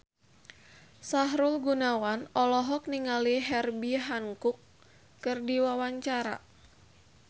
Sahrul Gunawan olohok ningali Herbie Hancock keur diwawancara